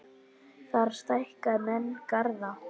Þar stækka menn garða.